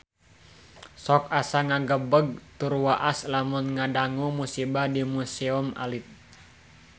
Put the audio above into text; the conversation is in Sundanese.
Sok asa ngagebeg tur waas lamun ngadangu musibah di Museum Alit